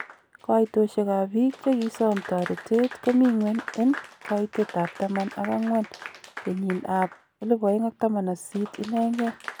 Koitosiek ab biik chekisom tooreetet komingwen en koitet ab taman ak angwen kenyin ab 2018 inengen.